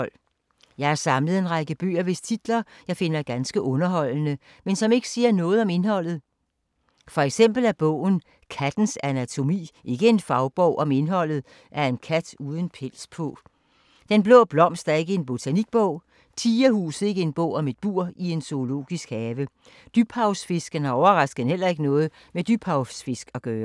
Jeg har samlet en række bøger, hvis titler, jeg finder ganske underholdende, men som ikke siger noget om indholdet. For eksempel er bogen Kattens anatomi ikke en fagbog om indholdet af en kat uden pels på. Den blå blomst er ikke en botanikbog. Tigerhuset er ikke en bog om et bur i en zoologisk have. Dybhavsfisken har overraskende heller ikke noget med dybhavsfisk at gøre.